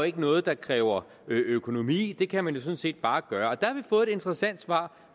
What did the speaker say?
ikke noget der kræver økonomi det kan man sådan set bare gøre der har fået et interessant svar